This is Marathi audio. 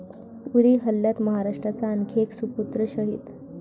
उरी हल्ल्यात महाराष्ट्राचा आणखी एक सुपुत्र शहीद